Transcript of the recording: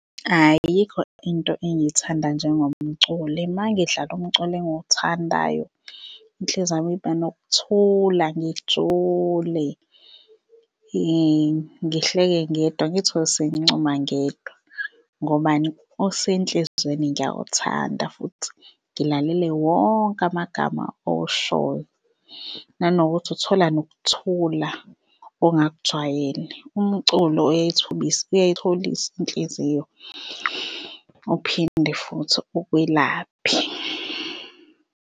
Ayikho into engiyithanda njengomculo, uma ngidlala umculo engiwuthandayo inhliziyo yami iba nokuthula ngijule ngihleke ngedwa ngiy'thole sengincuma ngedwa. Ngobani? Usenhlizweni ngiyawuthanda futhi ngilalele wonke amagama owushoyo nanokuthi uthola nokuthula ongakujwayele. Umculo oyayithobisa inhliziyo, uphinde futhi ukwelaphe.